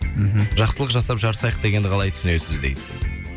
мхм жақсылық жасап жарысайық дегенді қалай түсінесіз дейді